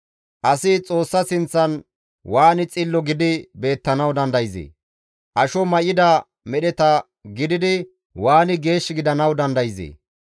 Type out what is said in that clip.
Asi Xoossa sinththan waani xillo gidi beettanawu dandayzee? Asho may7ida medheta gididi waani geesh gidanawu dandayzee?